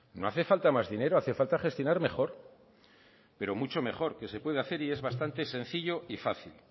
no hace falta más dinero hace falta gestionar mejor pero mucho mejor que se puede hacer y es bastante sencillo y fácil